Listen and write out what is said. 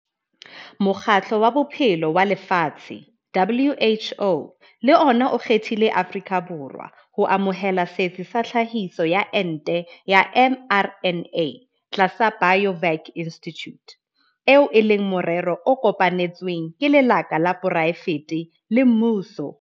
Mokgatlo wa Bophelo wa Lefatshe, WHO, le ona o kgethile Afrika Borwa ho amohela setsi sa tlhahiso ya ente ya mRNA tlasa Biovac Institute, eo e leng morero o kopanetsweng ke lekala la poraefete le mmuso.